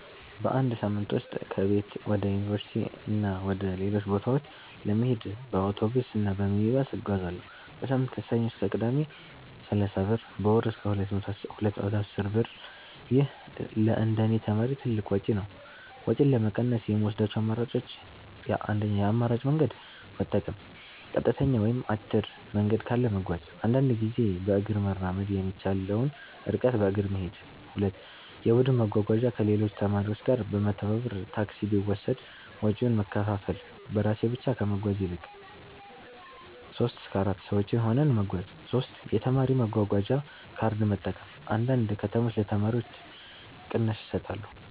በአንድ ሳምንት ውስጥ ከቤት ወደ ዩኒቨርሲቲ እና ወደ ሌሎች ቦታዎች ለመሄድ በአውቶቡስ እና በሚኒባስ እጓዛለሁ። · በሳምንት (ከሰኞ እስከ ቅዳሜ) = 30 ብር · በወር = 210 ብር ይህ ለእንደኔ ተማሪ ትልቅ ወጪ ነው። ወጪን ለመቀነስ የምወስዳቸው አማራጮች 1. የአማራጭ መንገድ መጠቀም · ቀጥተኛ ወይም አጭር መንገድ ካለ መጓዝ · አንዳንዴ በእግር መራመድ የሚቻለውን ርቀት በእግር መሄድ 2. የቡድን መጓጓዣ · ከሌሎች ተማሪዎች ጋር በመተባበር ታክሲ ቢወሰድ ወጪውን መከፋፈል · በራሴ ብቻ ከመጓዝ ይልቅ 3-4 ሰዎች ሆነን መጓዝ 3. የተማሪ መጓጓዣ ካርድ መጠቀም · አንዳንድ ከተሞች ለተማሪዎች ቅናሽ ይሰጣሉ